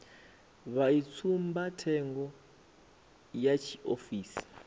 vha i tsumbathengo ya tshiofisi